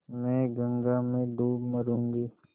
मैं गंगा में डूब मरुँगी